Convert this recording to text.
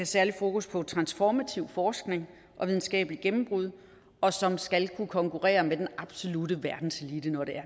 særligt fokus på transformativ forskning og videnskabelige gennembrud og som skal kunne konkurrere med den absolutte verdenselite når